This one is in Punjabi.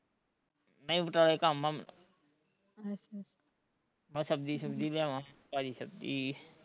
ਨਹੀਂ ਬਟਾਲੇ ਕੰਮ ਐ ਮੈਨੂੰ ਮੈਂ ਸਬਜ਼ੀ ਸੁਬਜ਼ੀ ਲਿਆਵਾਂ ਤਾਜ਼ੀ ਸਬਜ਼ੀ